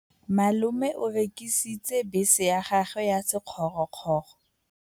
Malome o rekisitse bese ya gagwe ya sekgorokgoro.